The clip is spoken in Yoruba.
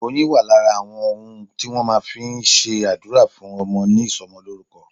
Oyin wà lára àwọn ohun tí wọn fi máa ń s'adura fún ọmọ ní ìsomolórúkọ.